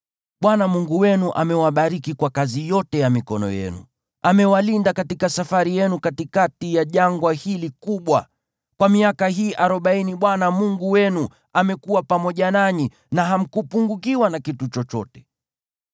Bwana Mungu wenu amewabariki kwa kazi yote ya mikono yenu. Amewalinda katika safari yenu katikati ya jangwa hili kubwa. Kwa miaka hii arobaini Bwana Mungu wenu amekuwa pamoja nanyi, na hamkupungukiwa na kitu chochote.